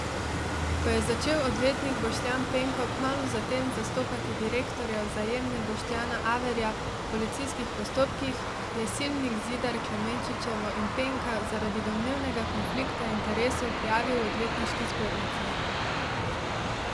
Ko je začel odvetnik Boštjan Penko kmalu za tem zastopati direktorja Vzajemne Boštjana Averja v policijskih postopkih, je Slivnik Zidar Klemenčičevo in Penka zaradi domnevnega konflikta interesov prijavil odvetniški zbornici.